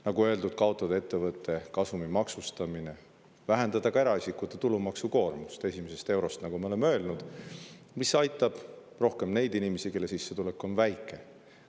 Nagu öeldud, tuleb kaotada ettevõtte kasumi maksustamine ja vähendada ka eraisikute tulumaksukoormust, esimesest eurost, mis aitab rohkem neid inimesi, kelle sissetulek on väike.